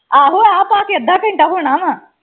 ਆਹੋ ਆ ਪਾ ਕੇ ਅੱਧਾ ਘੰਟਾ ਹੋਣਾ ਵਾ